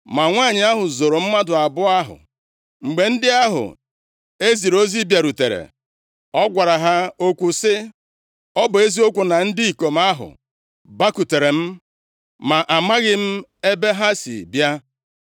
Ma nwanyị ahụ zoro mmadụ abụọ ahụ. Mgbe ndị ahụ e ziri ozi bịarutere, ọ gwara ha okwu sị, “Ọ bụ eziokwu na ndị ikom ahụ bakwutere m, ma amaghị m ebe ha si bịa.